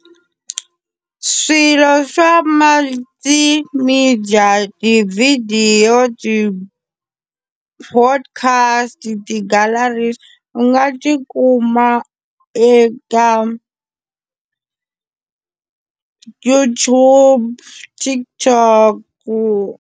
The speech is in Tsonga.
Swilo swa multimedia tivhidiyo ti-podcast ti gallaries u nga tikuma eka YouTube, TikTok.